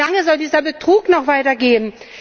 Wie lange soll dieser Betrug noch weitergehen?